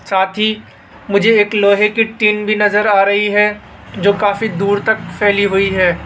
साथ ही मुझे एक लोहे की टीन भी नजर आ रही है जो काफी दूर तक फैली हुई है।